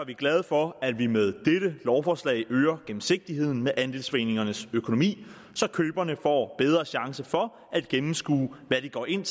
vi glade for at vi med dette lovforslag øger gennemsigtigheden med andelsforeningernes økonomi så køberne får bedre chance for at gennemskue hvad de går ind